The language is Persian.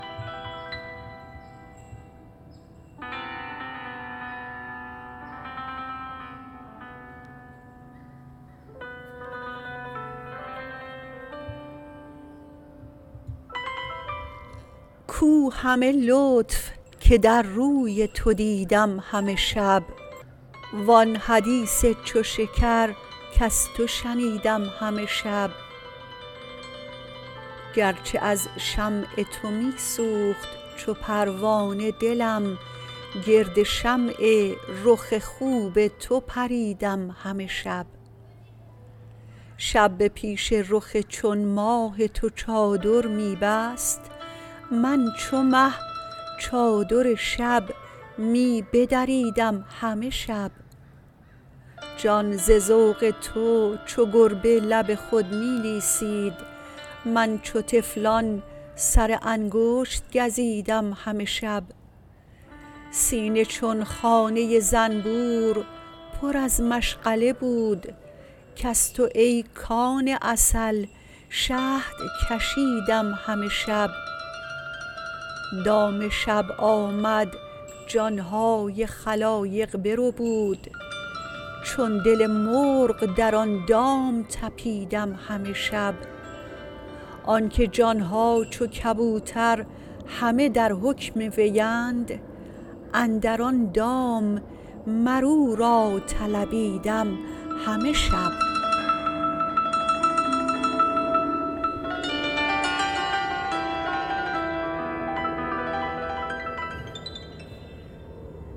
کو همه لطف که در روی تو دیدم همه شب وآن حدیث چو شکر کز تو شنیدم همه شب گرچه از شمع تو می سوخت چو پروانه دلم گرد شمع رخ خوب تو پریدم همه شب شب به پیش رخ چون ماه تو چادر می بست من چو مه چادر شب می بدریدم همه شب جان ز ذوق تو چو گربه لب خود می لیسید من چو طفلان سر انگشت گزیدم همه شب سینه چون خانه زنبور پر از مشغله بود کز تو ای کان عسل شهد کشیدم همه شب دام شب آمد جان های خلایق بربود چون دل مرغ در آن دام طپیدم همه شب آنکه جان ها چو کبوتر همه در حکم وی اند اندر آن دام مر او را طلبیدم همه شب